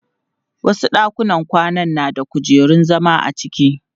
Wasu ɗakunan kwana na da kujerun zama a cikin.